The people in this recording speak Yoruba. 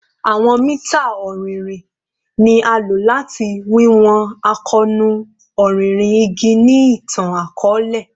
Awọn mita ọrinrin ni a lo lati wiwọn akoonu ọrinrin igi ni itan-akọọlẹ